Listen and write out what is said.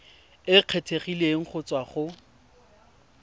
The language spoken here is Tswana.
e kgethegileng go tswa go